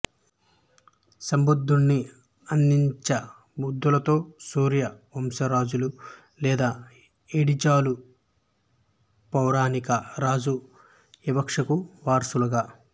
శ బుద్ధుని ఆదిచాబంధులలో సూర్య వంశజులు లేదా ఎడిచాలు పౌరాణిక రాజు ఇక్ష్వాకు వారసులుగా